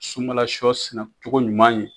Sunbala sɔ sɛnɛcogo ɲuman ye